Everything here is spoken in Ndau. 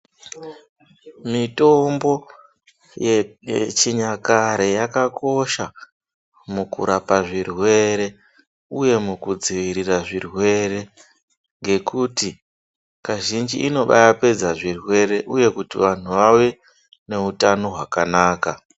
Mitombo ye yechinyakare yakakosha mukurapa zvirwere uye mukudziirora zvirwere ngekuti kazhinji inobaapedza zvirwere uye kuti vanhu vave neutano hwakanaka.